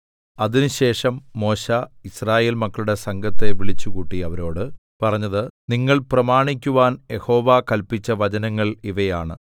അതിനുശേഷം മോശെ യിസ്രായേൽ മക്കളുടെ സംഘത്തെ വിളിച്ചുകൂട്ടി അവരോട് പറഞ്ഞത് നിങ്ങൾ പ്രമാണിക്കുവാൻ യഹോവ കല്പിച്ച വചനങ്ങൾ ഇവയാണ്